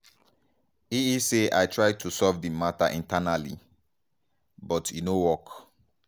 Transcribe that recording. e e say "i try to solve di mata internally but e no work.